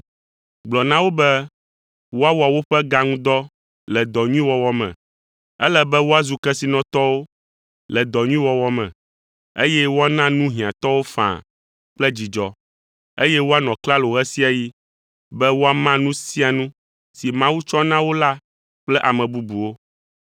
Gblɔ na wo be woawɔ woƒe ga ŋu dɔ le dɔ nyui wɔwɔ me. Ele be woazu kesinɔtɔwo le dɔ nyui wɔwɔ me, eye woana nu hiãtɔwo faa kple dzidzɔ, eye woanɔ klalo ɣe sia ɣi be woama nu sia nu si Mawu tsɔ na wo la kple ame bubuwo.